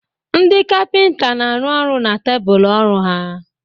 Ndị kapịnta na-arụ ọrụ n'tebụl ọrụ ha.